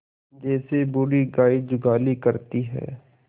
जैसे बूढ़ी गाय जुगाली करती है